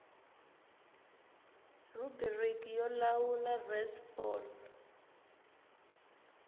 rhubiriki yo lawula res fal